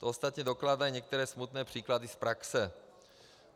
To ostatně dokládají některé smutné příklady z praxe.